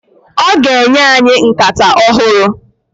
Ọ ga-enye anyị nkata ọhụrụ.